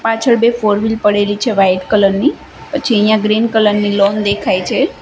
પાછળ બે four wheel પડેલી છે વાઈટ કલર ની પછી અહીંયા ગ્રીન કલર ની લૉન દેખાય છે.